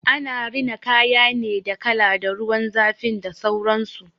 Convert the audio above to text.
Ana rina kaya ne da kala, da ruwan zafin da sauransu.